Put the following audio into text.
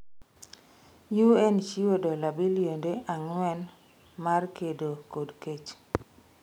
UN chiwo dola bilionde ang'wen mar kedo kod kech